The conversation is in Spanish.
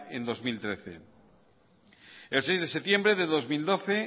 en dos mil trece el seis de septiembre de dos mil doce